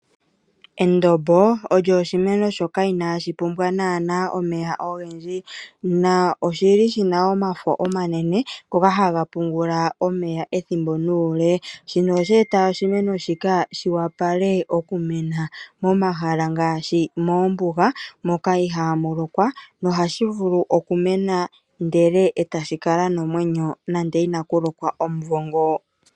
Endombo olyo oshimeno shoka inashi pumbwa nana omeya ogendji. Oshili shina omafo omanene, ngoka haga pungula omeya ethimbo nuule. Shino osheeta oshimeno shika shi wapale momahala ngaashi moombuga, moka ihamu lokwa nohashi vulu okumena etashi kala nomwenyo omumvo ngo.